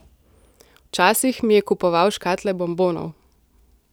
Včasih mi je kupoval škatle bombonov.